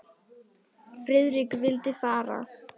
Friðrik vildi fara.